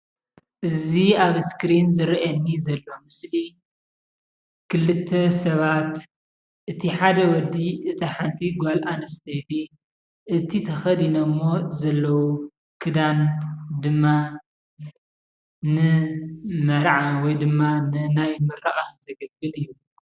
እዚ ኣብ እስክሪን ዝረአየኒ ዘሎ ምስሊ ክልተ ሰባት እቲ ሓደ ወዲ እቲ ሓንቲ ጓል ኣነስተይቲ እቲ ተከዲነሞ ዘለዉ ክደን ድማ ንመርዓ ወይ ድማ ንናይ ምርቃት ዘገልግል እዩ፡፡